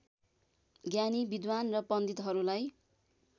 ज्ञानी विद्वान् र पण्डितहरूलाई